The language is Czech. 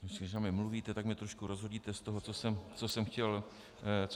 Když na mě mluvíte, tak mě trošku rozhodíte z toho, co jsem chtěl říct.